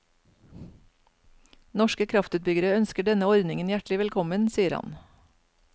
Norske kraftutbyggere ønsker denne ordningen hjertelig velkommen, sier han.